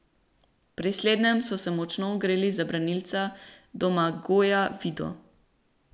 Pri slednjem so se močno ogreli za branilca Domagoja Vido.